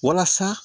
Walasa